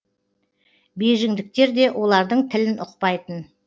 бейжіңдіктер де олардың тілін ұқпайтын